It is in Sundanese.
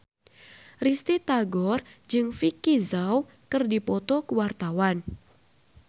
Risty Tagor jeung Vicki Zao keur dipoto ku wartawan